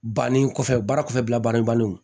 Banni kɔfɛ baara kɔfɛla baara bannen